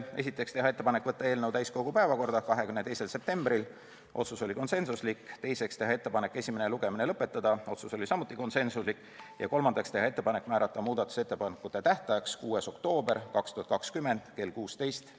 Esiteks, teha ettepanek võtta eelnõu täiskogu päevakorda 22. septembriks , teiseks, teha ettepanek esimene lugemine lõpetada , ja kolmandaks, teha ettepanek määrata muudatusettepanekute tähtajaks 6. oktoober kell 16.